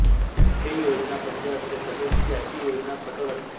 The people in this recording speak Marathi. हे योजनाबद्ध असते तसेच याची योजना कठोर असते